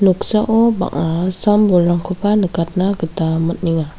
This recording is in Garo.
noksao bang·a sam bolrangkoba nikatna gita man·enga.